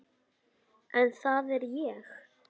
En það er ég.